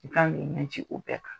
ye jigiw bɛn na